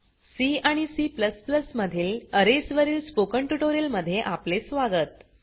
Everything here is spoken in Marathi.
सी आणि C मधील अरेज वरील स्पोकन ट्यूटोरियल मध्ये आपले स्वागत